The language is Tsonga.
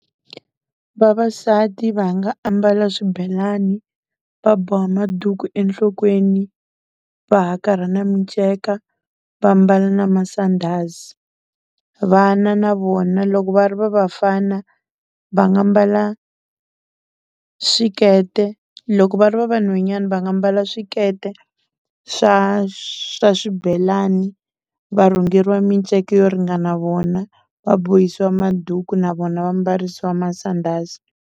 Vavasati va nga ambala swibelani, va boha maduku enhlokweni, va hakarha na miceka, vambala na masandhazi. Vana na vona loko va ri va vafana va nga mbala swikete, loko va ri va vanhwanyani va nga mbala swikete swa swa swibelani va rhungeriwa minceke yo ringana vona, va bohisiwa maduku na vona va mbarisiwa masandhazi.